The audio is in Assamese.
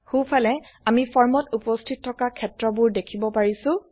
সো ফালে আমি ফৰ্মত উপস্থিত থকা ক্ষেত্ৰবোৰ দেখিব পাৰিছো